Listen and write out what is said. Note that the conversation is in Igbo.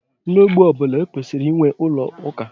N'ogbé ọ bụla, e kwesịrị inwe ụlọ ụka.